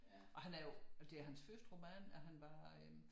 Og han er jo det er hans første roman at han bare øh